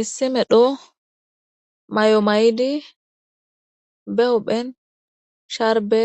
Issi medho mayo mayidi daro maccassatti be huphen sdarbe